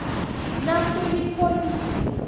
nasuyitfolile